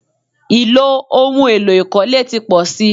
Ì̀lò ohun èlo ìkọ́lé ti pọ̀ si.